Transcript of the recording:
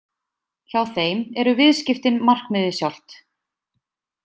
Hjá þeim eru viðskiptin markmiðið sjálft.